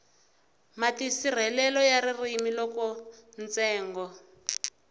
matirhiselo ya ririmi loko ntsengo